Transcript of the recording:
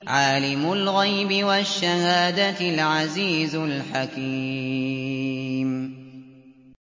عَالِمُ الْغَيْبِ وَالشَّهَادَةِ الْعَزِيزُ الْحَكِيمُ